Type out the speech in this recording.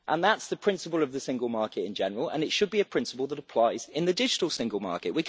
That's the principle of the single market in general and it should be a principle that applies in the digital single market.